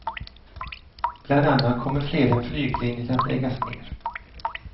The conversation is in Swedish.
Bland annat kommer flera flyglinjer att läggas ner.